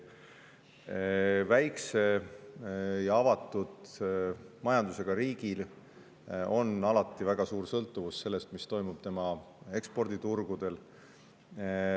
Väikese ja avatud majandusega riik sõltub alati väga suuresti sellest, mis toimub tema eksporditurgudel.